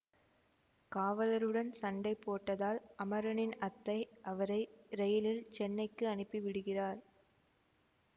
காவலருடன் சண்டை போட்டதால் அமரனின் அத்தை அவரை ரெயிலில் சென்னைக்கு அனுப்பி விடுகிறார்